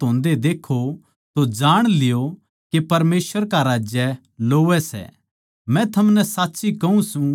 इस तरियां तै जिब थम ये बात होन्दे देक्खो तो जाण ल्यो के परमेसवर का राज्य लोवै सै